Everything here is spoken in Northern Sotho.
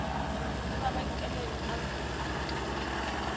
le mabenkele akhwi a ka